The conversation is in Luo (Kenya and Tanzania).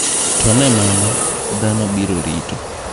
To ne mano, dhano biro rito.